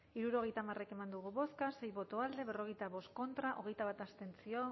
hirurogeita hamar eman dugu bozka sei boto alde berrogeita bost contra hogeita bat abstentzio